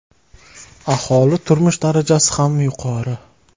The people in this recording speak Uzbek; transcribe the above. Aholi turmush darajasi ham yuqori.